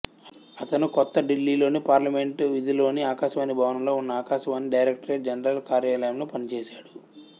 అతను కొత్త ఢిల్లీలోని పార్లమెంటు వీధిలోని ఆకాశవాణి భవనంలో ఉన్న ఆకాశవాణి డైరక్టరేట్ జనరల్ కార్యాలయంలో పనిచేసాడు